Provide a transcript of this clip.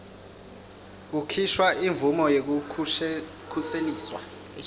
kukhishwa imvumo yekukhuseliswa